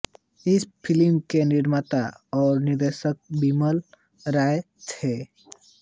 इस फ़िल्म के निर्माता और निर्देशक बिमल रॉय थे